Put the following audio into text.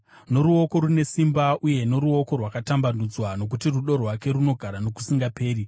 noruoko rune simba uye noruoko rwakatambanudzwa, Nokuti rudo rwake runogara nokusingaperi.